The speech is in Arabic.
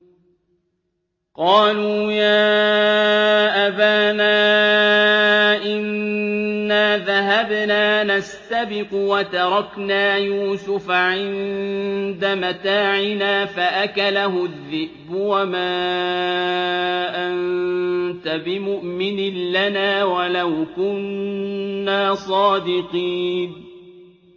قَالُوا يَا أَبَانَا إِنَّا ذَهَبْنَا نَسْتَبِقُ وَتَرَكْنَا يُوسُفَ عِندَ مَتَاعِنَا فَأَكَلَهُ الذِّئْبُ ۖ وَمَا أَنتَ بِمُؤْمِنٍ لَّنَا وَلَوْ كُنَّا صَادِقِينَ